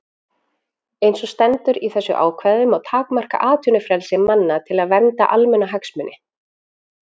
Eins og stendur í þessu ákvæði má takmarka atvinnufrelsi manna til að vernda almannahagsmuni.